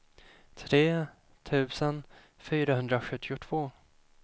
tre tusen fyrahundrasjuttiotvå